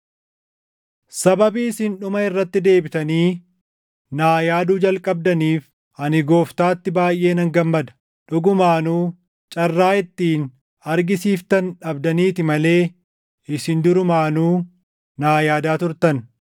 Sababii isin dhuma irratti deebitanii naa yaaduu jalqabdaniif ani Gooftaatti baayʼee nan gammada. Dhugumaanuu carraa ittiin argisiiftan dhabdaniiti malee isin durumaanuu naa yaadaa turtan.